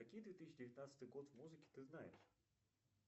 какие две тысячи девятнадцатый год музыки ты знаешь